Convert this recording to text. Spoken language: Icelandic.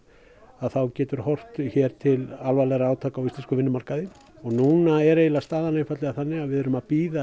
þá getur horft til alvarlegra átaka á vinnumarkaði núna er staðan þannig að við erum að bíða